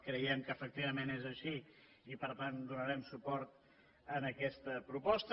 creiem que efectivament és així i per tant donarem suport a aquesta proposta